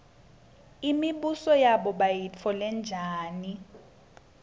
imibuso yabo bayitfole njani